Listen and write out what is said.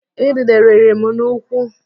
Idide rịrị m n'ụkwụ